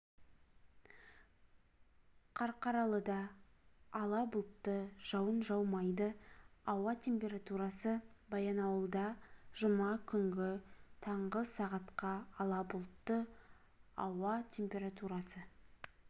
қарқаралыда ала бұлтты жауын жаумайды ауа температурасы баянауылда жұма күнгі таңғы сағатқа ала бұлтты ауа температурасы